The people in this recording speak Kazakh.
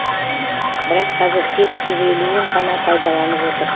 бірақ қазір тек жүз елуін ғана пайдаланып отыр